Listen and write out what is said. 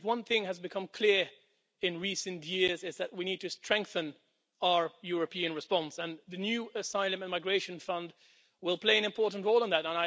If one thing has become clear in recent years, it is that we need to strengthen our European response and the new Asylum and Migration Fund will play an important role in that.